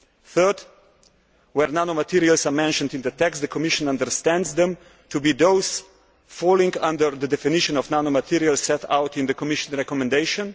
Thirdly, where nanomaterials are mentioned in the text, the Commission understands them to be those falling under the definition of nanomaterials set out in the Commission recommendation.